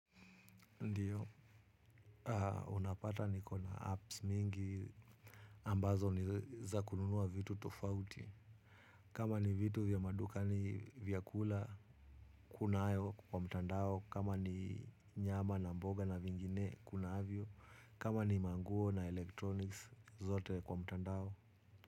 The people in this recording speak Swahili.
Ndiyo. Unapata niko na apps mingi ambazo ni za kununua vitu tofauti. Kama ni vitu vya madukani vyakula kunayo kwa mtandao. Kama ni nyama na mboga na vingine kunavyo. Kama ni manguo na electronics zote kwa mtandao.